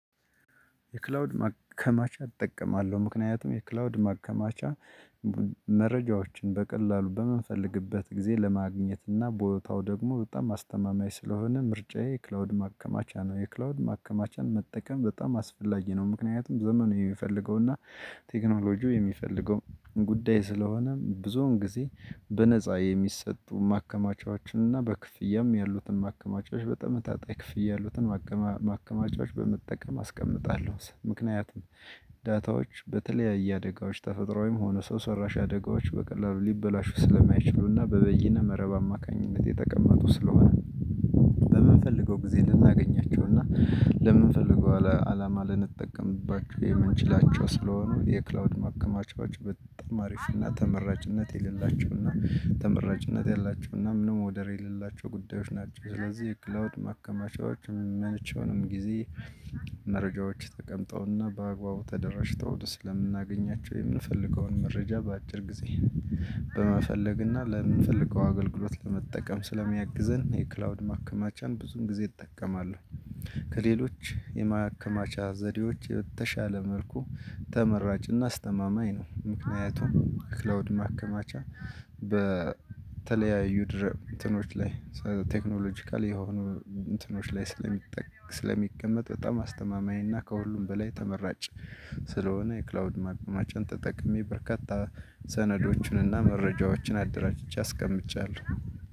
የክላውድ ማከማቻ እጠቀማለሁ ምክንያቱም የክላውድ ማከማቻ መረጃዎችን በቀላሉ በምንፈልግበት ጊዜ ለማግኘት እና ቦታው ደግሞ በጣም አስተማማኝ ስለሆነ ምርጫዬ ክላውድ ማከማቻ ነው። የክላውድ ማከማቻን መጠቀም በጣም አስፈላጊ ነው። ምክንያቱም ዘመኑ የሚፈልገውና ቴክኖሎጂው የሚፈልገው ጉዳይ ስለሆነ ብዙውን ጊዜ በነፃ የሚሰጡ ማከማቻዎችንና በክፍያም ያሉትን ማከማቻዎች በተመጣጣኝ ክፍያ ያሉትን ማከማቻዎች በመጠቀም አስቀምጣለሁ። ምክንያቱም ዳታዎች በተለያየ አደጋዎች ተፈጥሮአዊም ወይም ሆነ ሰው ሰራሽ አደጋዎች በቀላሉ ሊበላሹ ስለማይችሉና በበይነ መረብ አማካኝነት የተቀመጡ ስለሆነ። በምንፈልገው ጊዜ ልናገኛቸው እና ለምንፈልገው አላማ ልንጠቀምባቸው የምንችላቸው ስለሆኑ የክላውድ ማከማቻዎች በጣም አሪፍና ተመራጭነት የሌላቸውና ተመራጭነት ያላቸውና ምንም ወደር የሌላቸው ጉዳዮች ናቸው። ስለዚህ የክላውድ ማከማቻዎች መቸውንም ጊዜ መረጃዎች ተቀምጠውና በአግባቡ ተደራጅተው ስለምናገኛቸው የምንፈልገውን መረጃ በአጭር ጊዜ በመፈለግና ለምንፈልገው አገልግሎት ለመጠቀም ስለሚያግዘን የክላውድ ማከማቻን ብዙን ጊዜ እጠቀማለሁ። ከሌሎች የማከማቻ ዘዴዎች የተሻለ መልኩ ተመራጭና አስተማማኝ ነው። ምክንያቱም ክላውድ ማከማቻ በተለያዩ ድር እንትኖች ላይ ቴክኖሎጂካል የሆኑ እንትኖች ላይ ስለሚጠ ስለሚቀመጥ በጣም አስተማማኝ እና ከሁሉም በላይ ተመራጭ ስለሆነ የክላውድ ማከማቻን ተጠቅሜ በርካታ ሰነዶችን እና መረጃዎችን አደራጅቼ አስቀምጫለሁ።